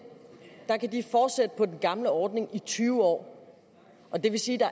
gamle ordning i tyve år og det vil sige at